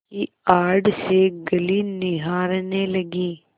की आड़ से गली निहारने लगी